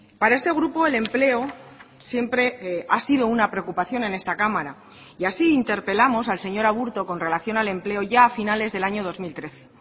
para este grupo el empleo siempre ha sido una preocupación en esta cámara y así interpelamos al señor aburto con relación al empleo ya a finales del año dos mil trece